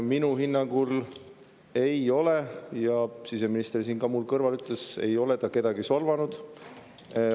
Minu hinnangul ei ole ta kedagi solvanud, seda ütles ka siseminister siin minu kõrval.